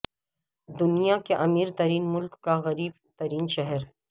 دنیا کے امیر ترین ملک کا غریب ترین شہر